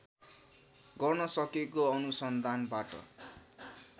गर्न सकेको अनुसन्धानबाट